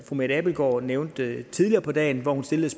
mette abildgaard nævnte tidligere på dagen hvor hun stillede